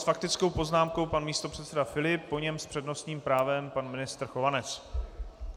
S faktickou poznámkou pan místopředseda Filip, po něm s přednostním právem pan ministr Chovanec.